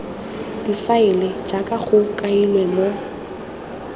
difaele jaaka go kailwe mo